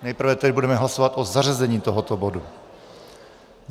Nejprve tedy budeme hlasovat o zařazení tohoto bodu.